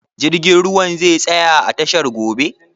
Jirgin ruwan zai tsaya a tashar gobe?